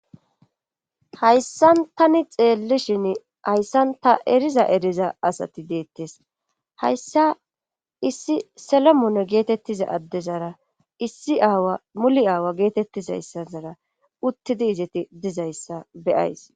Hayssan tani xeellishin hayssan ta eriza eriza asati deettes hayssa issi solomoone geetettiza addezara issi aawa muli aawa geetettizayssazara uttidi izeti dizayssa beyays.